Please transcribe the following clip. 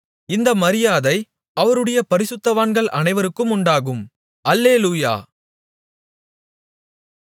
இந்த மரியாதை அவருடைய பரிசுத்தவான்கள் அனைவருக்கும் உண்டாகும் அல்லேலூயா